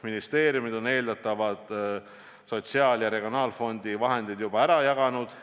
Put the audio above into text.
Ministeeriumid on eeldatavad sotsiaal- ja regionaalfondi vahendid juba ära jaganud.